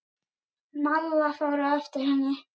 Malla fór á eftir henni.